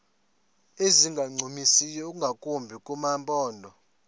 ezingancumisiyo ingakumbi kumaphondo